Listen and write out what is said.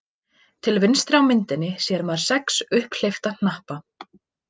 Til vinstri á myndinni sér maður sex upphleypta hnappa.